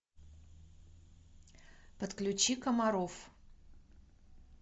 подключи комаров